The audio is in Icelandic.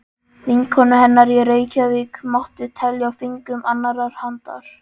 Vinkonur hennar í Reykjavík mátti telja á fingrum annarrar handar.